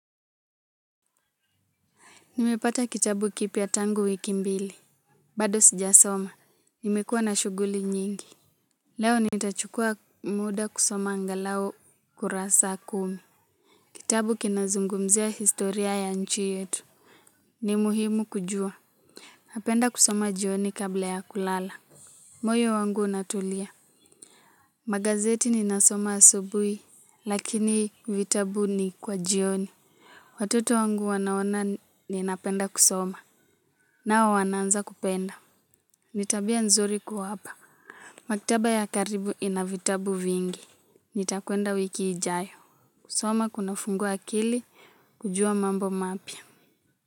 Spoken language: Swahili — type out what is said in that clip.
Nimepata kitabu kipya tangu wiki mbili. Bado sijasoma. Nimekua na shughuli nyingi. Leo nitachukua muda kusoma angalau kurasa kumi. Kitabu kinazungumzia historia ya nchi yetu. Ni muhimu kujua. Napenda kusoma jioni kabla ya kulala. Moyo wangu unatulia. Magazeti ninasoma asubuhi, lakini vitabu ni kwa jioni. Watoto wangu wanaona ninapenda kusoma. Nao wanaanza kupenda. Ni tabia nzuri kuwapa maktaba ya karibu ina vitabu vingi nitakwenda wiki ijayo kusoma kunafungua akili kujua mambo mapya.